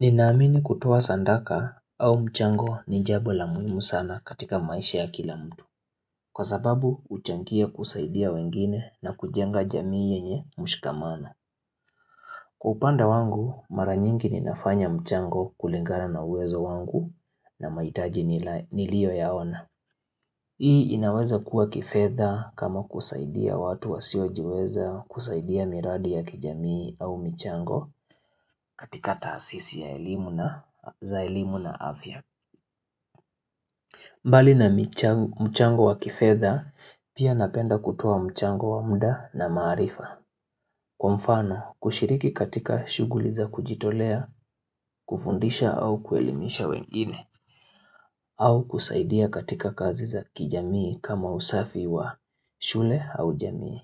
Ninaamini kutoa sandaka au mchango ni jambo la muhimu sana katika maisha ya kila mtu Kwa sababu uchangia kusaidia wengine na kujenga jamii yenye mshikamano kupanda wangu mara nyingi ninafanya mchango kulingana na uwezo wangu na maitaji nilioyaona Hii inaweza kuwa kifedha kama kusaidia watu wasiojiweza kusaidia miradi ya kijamii au mchango katika taasisi ya eilimu na za elimu na afya. Mbali na mchango wa kifedha pia napenda kutuwa mchango wa muda na maarifa. Kwa mfano, kushiriki katika shughuli za kujitolea, kufundisha au kuelimisha wengine au kusaidia katika kazi za kijamii kama usafi wa shule au jamii.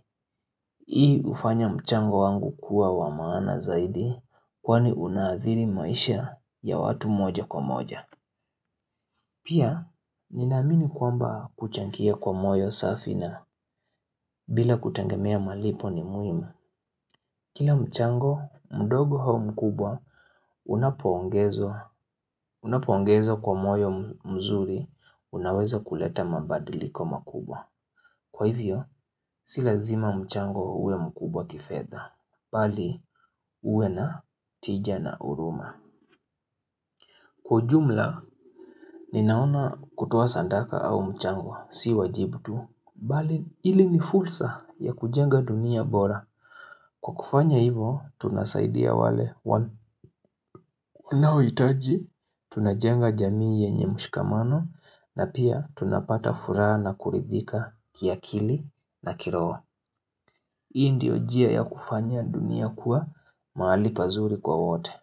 Hii ufanya mchango wangu kuwa wamaana zaidi kwani unaadhiri maisha ya watu moja kwa moja. Pia, ninaamini kwamba kuchangia kwa moyo safi na bila kutengemia malipo ni muhimu. Kila mchango, mdogo hau mkubwa, unapoongezo kwa moyo mzuri, unaweza kuleta mambadiliko makubwa. Kwa hivyo, si lazima mchango huwe mkubwa kifedha, bali huwe na tija na uruma. Kwa jumla, ninaona kutuwa sandaka au mchango, si wajibu tu. Bali, ili ni fursa ya kujenga dunia bora. Kwa kufanya hivo, tunasaidia wale wanawitaji, tunajenga jamii yenye mshikamano, na pia tunapata fura na kuridhika kia kili na kirowa. Hii ndio jia ya kufanya dunia kuwa mahali pazuri kwa wote.